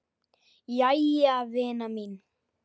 Jæja vina mín.